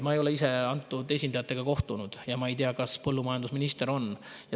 Ma ei ole ise esindajatega kohtunud ja ma ei tea, kas põllumajandusminister on.